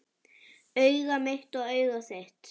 Augað mitt og augað þitt